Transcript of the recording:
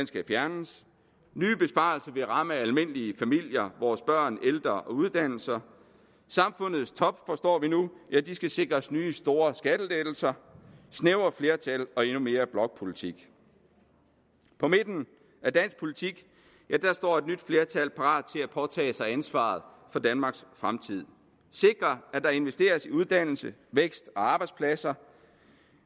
skal fjernes nye besparelser vil ramme almindelige familier vores børn de ældre og uddannelserne samfundets top forstår vi nu skal sikres nye store skattelettelser snævre flertal og endnu mere blokpolitik på midten af dansk politik står et nyt flertal parat til at påtage sig ansvaret for danmarks fremtid og sikre at der investeres i uddannelse vækst og arbejdspladser